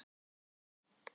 Það var kvikmyndin